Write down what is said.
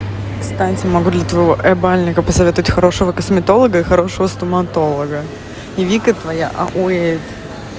станица могу твоего ебальника посоветуйте хорошего косметолога и хорошего стоматолога и вика твоя ауе